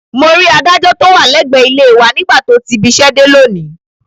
Mo rí adájọ́ tó wà lẹ́gbẹ̀ẹ́ ilé e wa nígbà tó ti ibiṣẹ́ dé lónìí